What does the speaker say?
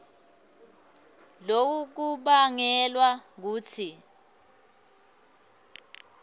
loku kubangelwa kutsi